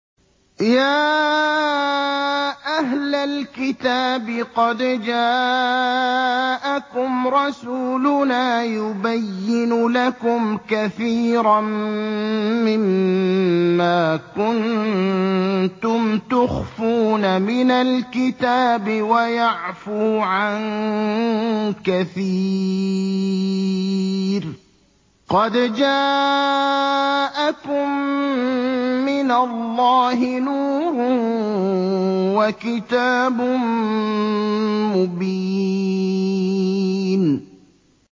يَا أَهْلَ الْكِتَابِ قَدْ جَاءَكُمْ رَسُولُنَا يُبَيِّنُ لَكُمْ كَثِيرًا مِّمَّا كُنتُمْ تُخْفُونَ مِنَ الْكِتَابِ وَيَعْفُو عَن كَثِيرٍ ۚ قَدْ جَاءَكُم مِّنَ اللَّهِ نُورٌ وَكِتَابٌ مُّبِينٌ